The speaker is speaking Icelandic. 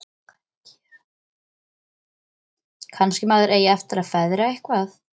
Kannski maður eigi eftir að feðra eitthvað.